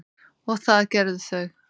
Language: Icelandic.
og það gerðu þau.